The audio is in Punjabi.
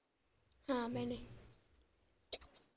ਹਾਂ ਭੈਣੇ।